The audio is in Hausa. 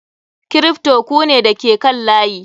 Kripto ku ne da ke kan layi.